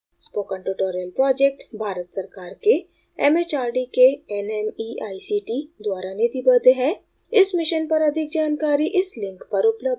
spoken tutorial project Bharat सरकार के mhrd के nmeict द्वारा निधिबद्ध है इस mission पर अधिक जानकारी इस link पर उपलब्ध है